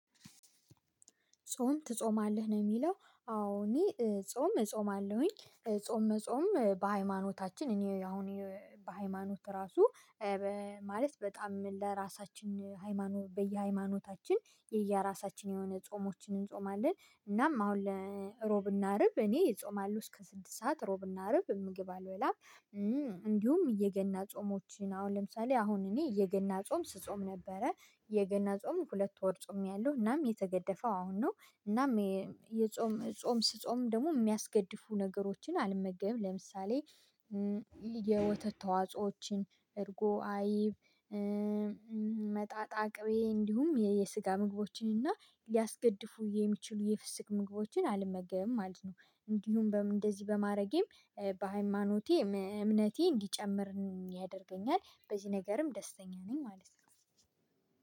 ጾም ትጾማለህ ነው የሚለው? አዎ እኔ ጾም እጾማለሁኝ ጾም መጾም በሃይማኖታችን እኔ አሁን በሃይማኖት ራሱ። ማለት በጣም ለራሳችን ሃይማኖት በየሃይማኖታችን የየራሳችን የሆነ ጾሞችን እንጾማለን። እናም አሁን ለሮብና አርብ እኔ እጾማለሁ እስከ ስድስት ሰዓት ሮብና አርብ ምግብ አልበላም። እንዲሁም የገና ጾሞችን አሁን ለምሳሌ አሁን እኔ የገና ጾም ስጾም ነበረ የገና ጾም ሁለት ወር ጾሜያለሁ እናም የተገደፈው አሁን ነው። እናም የጾም ጾም ስጾም ደግሞ የሚያስገድፉ ነገሮችን አልመገብም ለምሳሌ። የወተት ተዋጾዎችን እርጎ አይብ። መጣጣ ቅቤ እንዲሁም የስጋ ምግቦችን እና ሊያስገድፉ የሚችሉ የፍስክ ምግቦችን አልመገብም ማለት ነው። እንዲሁም እንደዚህ በማድረጌም በሃይማኖቴ እምነቴ እንዲጨምር ያደርገኛል በዚህ ነገርም ደስተኛ ነኝ ማለት ነው